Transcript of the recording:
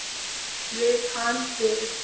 Viðtal við